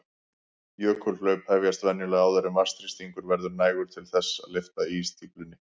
Jökulhlaup hefjast venjulega áður en vatnsþrýstingur verður nægur til þess að lyfta ísstíflunni.